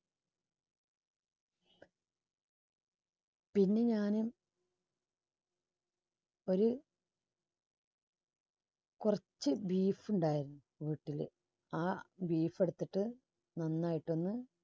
പിന്നെ ഞാന് ഒരു കുറച്ച് beef ഉണ്ടായിരുന്നു വീട്ടില് ആ beef ടുത്തിട്ട് നന്നായിട്ടൊന്ന്